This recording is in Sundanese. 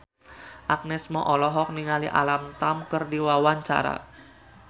Agnes Mo olohok ningali Alam Tam keur diwawancara